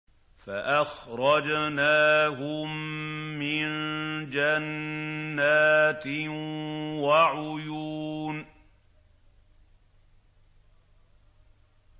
فَأَخْرَجْنَاهُم مِّن جَنَّاتٍ وَعُيُونٍ